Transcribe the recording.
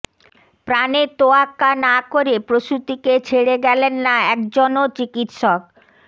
প্রাণের তোয়াক্কা না করে প্রসূতিকে ছেড়ে গেলেন না একজনও চিকিৎসক